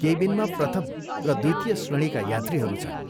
केविनमा प्रथम र द्वितीय श्रेणीका यात्रीहरू छन्।